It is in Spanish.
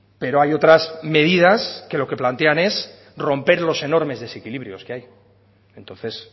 pero hay otras medidas que lo que plantean es romper los enormes desequilibrios que hay entonces